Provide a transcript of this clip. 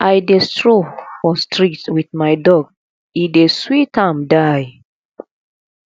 i dey stroll for street wit my dog e dey sweet am die